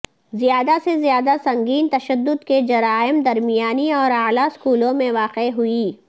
زیادہ سے زیادہ سنگین تشدد کے جرائم درمیانی اور اعلی اسکولوں میں واقع ہوئی